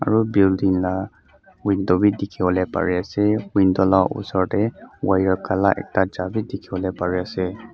aru building la window bi dikhi wole pari ase window la osor te wire kala ekta ja bi dikhi wole pari ase.